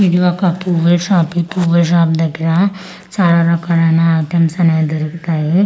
ఇది ఒక పువ్వే షాపిటు పూవే షాప్ దగ్గరా చలా రకాలైనా ఐటెమ్స్ అనేవి దొరుకుతాయి--